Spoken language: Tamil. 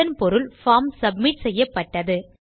அதன் பொருள் பார்ம் சப்மிட் செய்யப்பட்டது